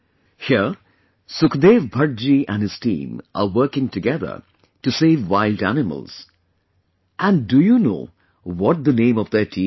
Here, Sukhdev Bhatt ji and his team are working together to save wild animals, and do you know what the name of their team is